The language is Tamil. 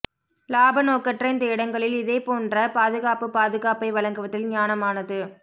லாப நோக்கற்ற இந்த இடங்களில் இதேபோன்ற பாதுகாப்புப் பாதுகாப்பை வழங்குவதில் ஞானமானது